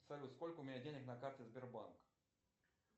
салют сколько у меня денег на карте сбербанк